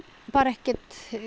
ekki